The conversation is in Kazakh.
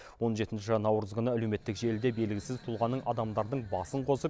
он жетінші наурыз күні әлеуметтік желіде белгісіз тұлғаның адамдардың басын қосып